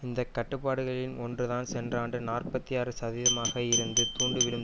இந்த கட்டுப்பாடுகளின் ஒன்றுதான் சென்ற ஆண்டு நாற்பத்தி ஆறு சதவீதமாக இருந்து துண்டுவிழும்